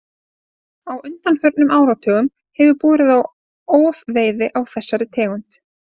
Á undanförnum áratugum hefur borið á ofveiði á þessari tegund.